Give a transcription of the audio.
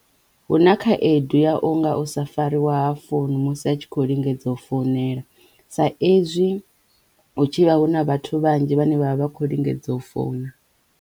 Hu na khaedu ya unga u sa fariwa ha founu musi a tshi khou lingedza u founela sa ezwi hu tshi vha hu na vhathu vhanzhi vhane vha vha vha khou lingedza u founa.